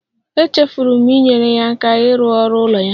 Echefuru m inyere ya aka ịrụ ọrụ ụlọ ya